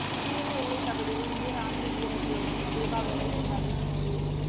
சீன எல்லை பகுதியில் இந்திய ராணுவ வீரர்களுடன் தீபாவளியை கொண்டாடிய மோடி